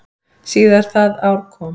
Síðar það ár kom